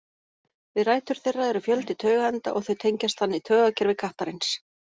Við rætur þeirra eru fjöldi taugaenda og þau tengjast þannig taugakerfi kattarins.